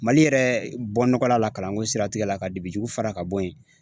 Mali yɛrɛ bɔnɔgɔla la kalanko siratigɛ la ka dibi jugu fara ka bɔ yen